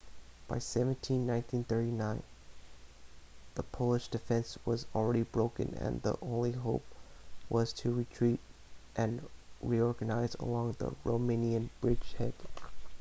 by september 17 1939 the polish defense was already broken and the only hope was to retreat and reorganise along the romanian bridgehead